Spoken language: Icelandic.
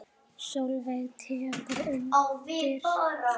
Sólveig tekur undir það.